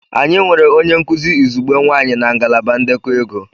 Anyị nwere onye nkuzi izugbe nwanyị na ngalaba ndekọ ego.